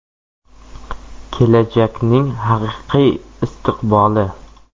Kelajakning haqiqiy istiqboli.